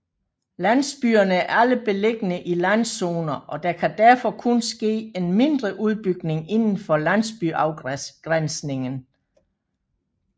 Landsbyerne er alle beliggende i landzoner og der kan derfor kun ske en mindre udbygning indenfor landsbyafgrænsningen